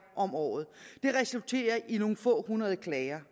om året det resulterer i nogle få hundrede klager